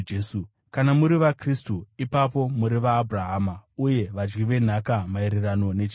Kana muri vaKristu, ipapo muri vana vaAbhurahama, uye vadyi venhaka maererano nechipikirwa.